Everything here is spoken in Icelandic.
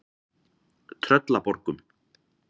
Tröllaborgum